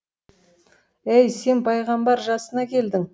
әй сен пайғамбар жасына келдің